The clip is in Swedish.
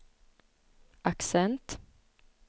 accent